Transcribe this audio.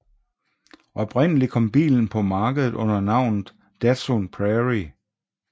Oprindeligt kom bilen på markedet under navnet Datsun Prairie